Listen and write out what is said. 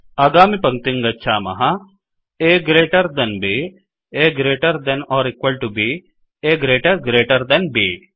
आगामिपंक्तिं गच्छामः A greater than b A greater than or equal to b A greater greater than B